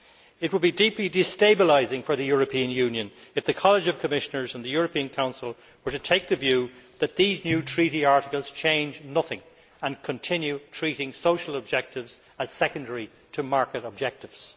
It would be deeply destabilising for the European Union if the College of Commissioners and the European Council were to take the view that these new treaty articles change nothing and continue treating social objectives as secondary to market objectives.